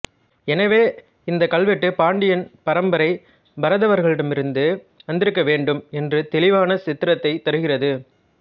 எனவே இந்த கல்வெட்டு பாண்டியன் பரம்பரை பரதவர்களிடமிருந்து வந்திருக்க வேண்டும் என்று தெளிவான சித்திரத்தைத் தருகிறது